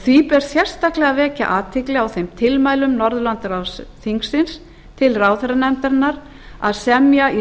því ber sérstaklega að vekja athygli á þeim tilmælum norðurlandaráðsþingsins til ráðherranefndarinnar að semja í